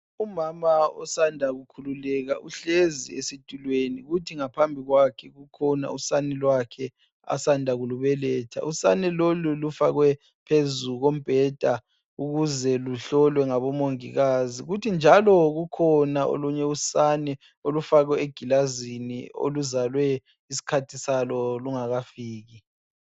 Umama osanda kukhululeka uhlezi esitulweni kuthi ngaphambi kwakhe kukhona usane lwakhe asanda kulubeletha. Usane lolu lufakwe phezulu kombheda ukuze luhlolwe ngabomongikazi kuthi njalo kukhona olunye usane olufakwe egilazini oluzalwe isikhathi salo singakafiki.